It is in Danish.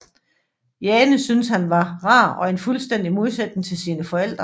Jane syntes han var rar og en fuldstændig modsætning til sine forældre